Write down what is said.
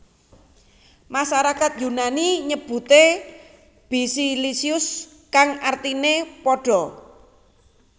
Masarakat Yunani nyebuté Basiliscus kang artiné pada